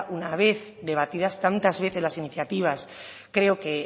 una vez debatidas tantas veces las iniciativas creo que